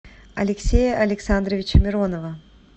алексея александровича миронова